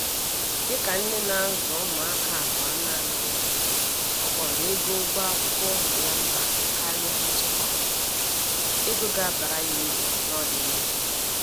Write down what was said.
Dịka nne na-azụ ụmụaka abụọ nanị ya, ọ kpọrọ ego ụgwọ akwụkwọ ụmụ ya mkpa karịa nchekwa ego ga abara ya uru n'ọdịnihu.